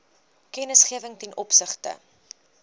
kennisgewing ten opsigte